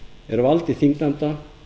er vald þingnefnda